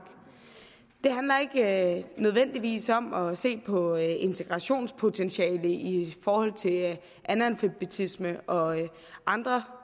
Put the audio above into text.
det handler ikke nødvendigvis om at se på integrationspotentiale i forhold til analfabetisme og andre